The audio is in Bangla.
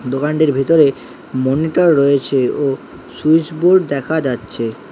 দোকানটির ভিতরে মনিটর রয়েছে ও সুইচ বোর্ড দেখা যাচ্ছে।